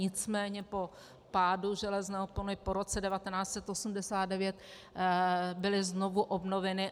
Nicméně po pádu železné opony po roce 1989 byly znovu obnoveny.